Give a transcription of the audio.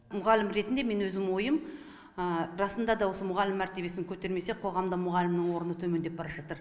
мұғалім ретінде мен өзім ойым расында да осы мұғалім мәртебесін көтермесе қоғамда мұғалімнің орны төмендеп бара жатыр